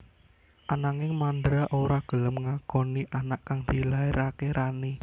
Ananging Mandra ora gelem ngakoni anak kang dilairaké Rani